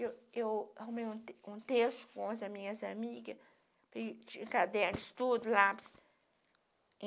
Eu eu arrumei um te terço com as minhas amigas, tinha cadernos, tudo, lápis.